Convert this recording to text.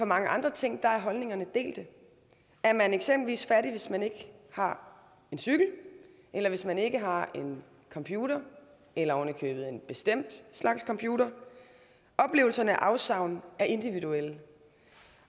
mange andre ting er holdningerne delte er man eksempelvis fattig hvis man ikke har en cykel eller hvis man ikke har en computer eller oven i købet en bestemt slags computer oplevelsen af afsavn er individuel